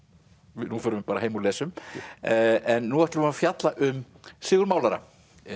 nú förum við bara heim og lesum en nú ætlum við að fjalla um Sigurð málara